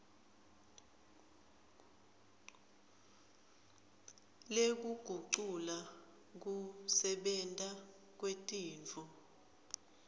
lekugucula kusebenta kwetintfo